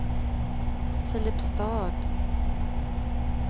Filipstad